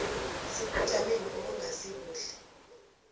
sebujameni obungasi buhle